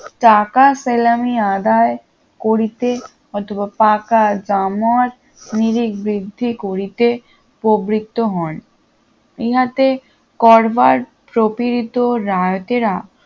টাকা সেলামি আদায় করিত অথবা পাকা দাম নিজি বৃদ্ধি করিতে প্রবৃত্ত হন ইহাতে করবার প্রপীড়িত রায়তেরা